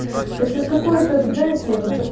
то есть какой это знаете вот такой